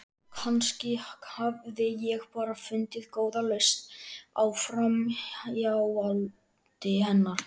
Kannski hafði ég bara fundið góða lausn á framhjáhaldi hennar.